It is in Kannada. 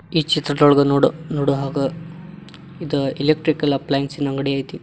ಈ ಚಿತ್ರದೊಳಗ್ ನೋಡ್ ನೋಡೋ ಹಾಗ ಇದ್ ಎಲೆಕ್ಟ್ರಿಕಲ್ ಅಪ್ಪಲಯನ್ಸಿನ್ ಅಂಗಡಿ ಐತಿ.